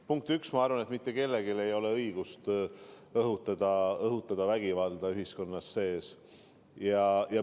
Punkt üks, ma arvan, et mitte kellelgi ei ole õigust õhutada ühiskonnas vägivalda.